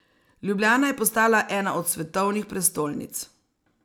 Ljubljana je postala ena od svetovnih prestolnic.